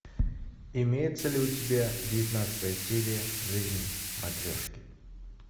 имеется ли у тебя девятнадцатая серия жизнь матрешки